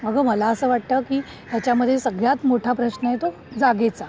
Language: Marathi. अगं मला असं वाटतं की त्याच्या मध्ये सगळ्यात मोठा प्रश्न आहे तो जागेचा.